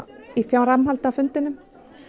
í framhaldi af fundinum